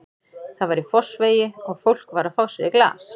Það var í Fossvogi og fólk var að fá sér í glas.